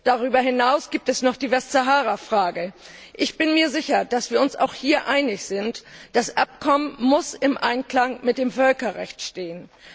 Darüber hinaus gibt es noch die Westsahara Frage. Ich bin mir sicher, dass wir uns auch hier einig sind Das Abkommen muss im Einklang mit dem Völkerrecht stehen.